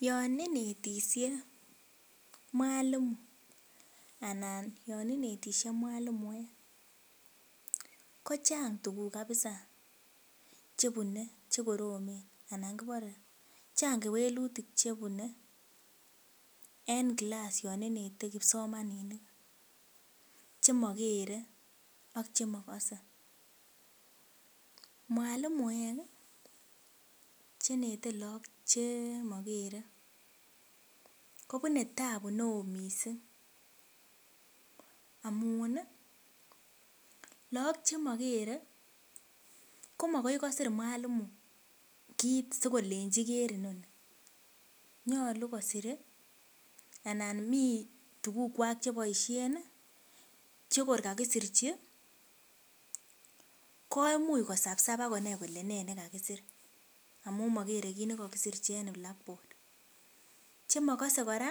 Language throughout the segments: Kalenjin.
Yaninetishe Mwalimu anan yaninetishe mwalimuek kochang tuguk kabisa chebune chekoromen kibare akochanga kewelutik chebune en class yaninete kipsomaninik cheakere ak ak chemakase mwalimuek chenete log Che cheakere kobune tabu neon mising amun lagok chimakere komagoi kosir Mwalimu kit sikolenchi Ker inoni nyalu kosire anan mi tuguk Kwak chebaishen yekor kakisir hi koimuche kosabsab akoger Kole ne nekakisir amun makere kit nikakisirchi en blackboard chemakase kora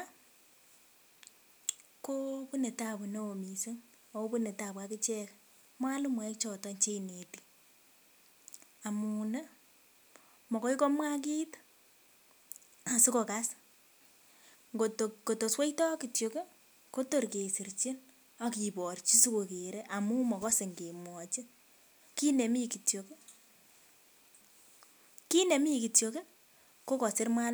konetabu neon mising akobune tabu akichek mwalimuek choton cheineti amun makoi komwaa kit asikokas kot kotosweita kityo Kotor kesirchin akibarchi. Sigogere amun kemwachi kit nemi kityo kosir Mwalimu